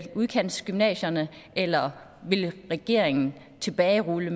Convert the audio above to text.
udkantsgymnasierne eller vil regeringen tilbagerulle